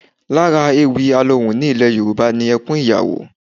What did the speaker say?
Lára ewì alohùn ní ilẹ̀ Yorùbá ni ẹkún ìyàwó